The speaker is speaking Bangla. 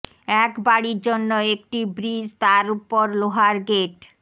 এক বাড়ির জন্য একটি ব্রিজ তার ওপর লোহার গেট